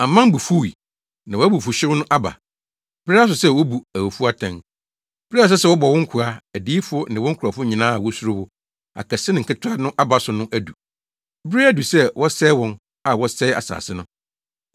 Aman bo fuwii, na wʼabufuwhyew no aba. Bere aso sɛ wobu awufo atɛn. Bere a ɛsɛ sɛ wobɔ wo nkoa, adiyifo ne wo nkurɔfo nyinaa a wosuro wo, akɛse ne nketewa no aba so no adu. Bere adu sɛ wosɛe wɔn a wɔsɛee asase no!”